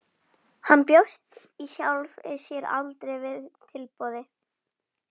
Hann bjóst í sjálfu sér aldrei við tilboði.